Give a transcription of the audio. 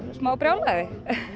smá brjálæði